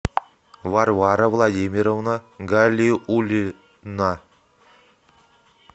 варвара владимировна галиуллина